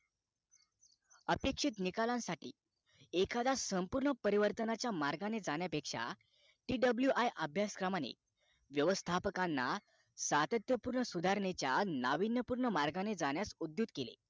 अपेक्षित निकालांसाठी एखादा संपूर्ण परिवर्तनाच्या मार्गाने जाण्या पेक्षा TWI अभ्यासक्रमाने व्यवस्थापकांना सातत्य पूर्ण सुधारणेच्या नाविन्यपूर्ण मार्गाने जाण्यास उद्युत केले